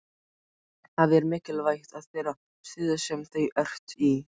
Það er mikilvægt í þeirri stöðu sem þú ert í.